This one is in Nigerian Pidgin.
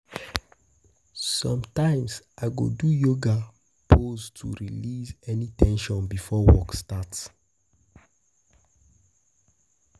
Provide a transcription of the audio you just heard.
Sometimes, I go do yoga poses to release any ten sion before work starts.